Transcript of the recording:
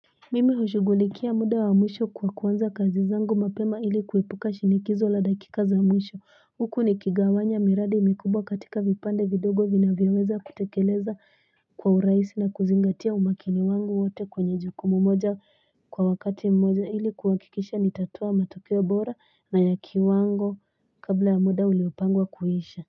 Mimi hushughulikia muda wa mwisho kwa kuanza kazi zangu mapema ili kuepuka shinikizo la daikika za mwisho huku nikigawanya miradi mikubwa katika vipande vidogo vinavyoweza kutekeleza kwa urahisi na kuzingatia umakini wangu wote kwenye jukumu moja kwa wakati mmoja ili kuhakikisha nitatoa matokeo bora na ya kiwango kabla ya muda uliopangwa kuisha.